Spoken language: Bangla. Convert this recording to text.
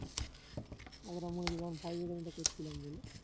আমরা করছিলাম বলে